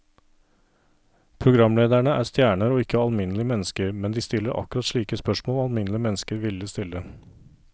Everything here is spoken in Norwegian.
Programlederne er stjerner og ikke alminnelige mennesker, men de stiller akkurat slike spørsmål alminnelige mennesker ville stille.